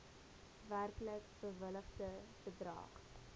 werklik bewilligde bedrag